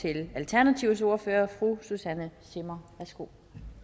til alternativets ordfører fru susanne zimmer værsgo